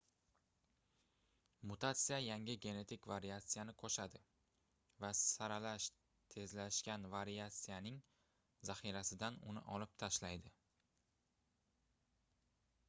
mutatsiya yangi genetik variatsiyani qoʻshadi va saralash tezlashgan variatsiyaning zaxirasidan uni olib tashlaydi